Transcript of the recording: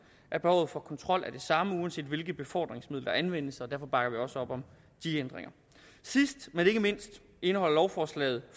at behovet for kontrol er det samme uanset hvilket befordringsmiddel der anvendes og derfor bakker vi også op om de ændringer sidst men ikke mindst indeholder lovforslaget